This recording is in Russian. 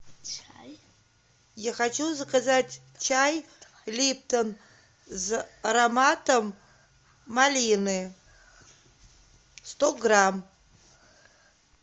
я хочу заказать чай липтон с ароматом малины сто грамм